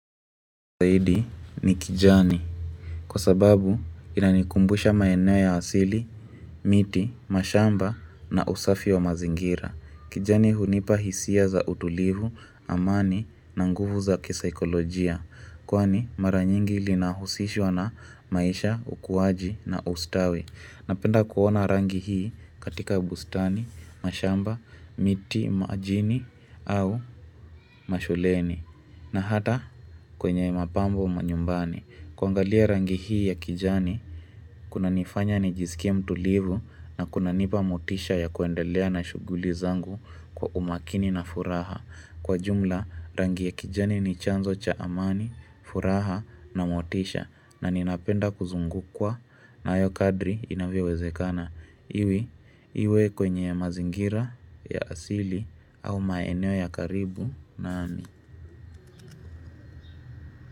Saidi ni kijani Kwa sababu inanikumbusha maenea ya asili, miti, mashamba na usafi wa mazingira kijani hunipa hisia za utulivu, amani na nguvu za kisaikolojia Kwani maranyingi linahusishwa na maisha, ukuwaji na ustawi. Napenda kuona rangi hii katika bustani, mashamba, miti, majini au mashuleni na hata kwenye mapambo manyumbani. Kuangalia rangi hii ya kijani, kunanifanya nijisikia mtulivu na kunanipa motisha ya kuendelea na shughuli zangu kwa umakini na furaha. Kwa jumla, rangi ya kijani ni chanzo cha amani, furaha na motisha na ninapenda kuzungukwa na hayo kadri inavyowezekana. Iwi, iwe kwenye mazingira, ya asili au maeneo ya karibu na ani.